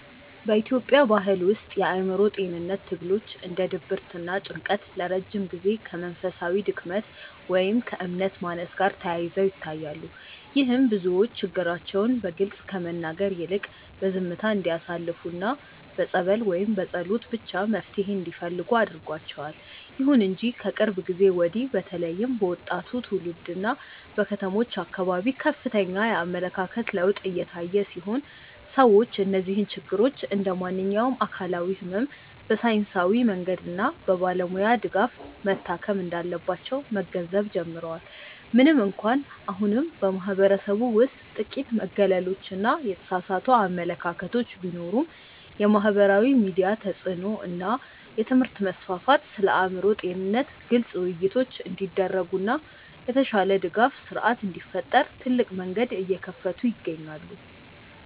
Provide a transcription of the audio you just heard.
በኢትዮጵያ ባሕል ውስጥ የአእምሮ ጤንነት ትግሎች እንደ ድብርትና ጭንቀት ለረጅም ጊዜ ከመንፈሳዊ ድክመት ወይም ከእምነት ማነስ ጋር ተያይዘው ይታያሉ። ይህም ብዙዎች ችግራቸውን በግልጽ ከመናገር ይልቅ በዝምታ እንዲያሳልፉና በጸበል ወይም በጸሎት ብቻ መፍትሔ እንዲፈልጉ አድርጓቸዋል። ይሁን እንጂ ከቅርብ ጊዜ ወዲህ በተለይም በወጣቱ ትውልድና በከተሞች አካባቢ ከፍተኛ የአመለካከት ለውጥ እየታየ ሲሆን፣ ሰዎች እነዚህን ችግሮች እንደ ማንኛውም አካላዊ ሕመም በሳይንሳዊ መንገድና በባለሙያ ድጋፍ መታከም እንዳለባቸው መገንዘብ ጀምረዋል። ምንም እንኳን አሁንም በማኅበረሰቡ ውስጥ ጥቂት መገለሎችና የተሳሳቱ አመለካከቶች ቢኖሩም፣ የማኅበራዊ ሚዲያ ተጽዕኖ እና የትምህርት መስፋፋት ስለ አእምሮ ጤንነት ግልጽ ውይይቶች እንዲደረጉና የተሻለ የድጋፍ ሥርዓት እንዲፈጠር ትልቅ መንገድ እየከፈቱ ይገኛሉ።